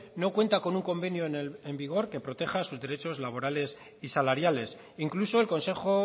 no cuenta con un convenio en vigor que proteja sus derechos laborales y salariales incluso el consejo